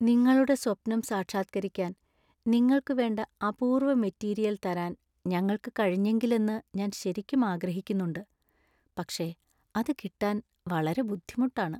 നിങ്ങളുടെ സ്വപ്നം സാക്ഷാത്കരിക്കാൻ നിങ്ങൾക്കു വേണ്ട അപൂർവ മെറ്റീരിയൽ തരാൻ ഞങ്ങൾക്ക് കഴിഞ്ഞെങ്കിലെന്നു ഞാൻ ശരിക്കും ആഗ്രഹിക്കുന്നുണ്ട് , പക്ഷേ അത് കിട്ടാൻ വളരെ ബുദ്ധിമുട്ടാണ്.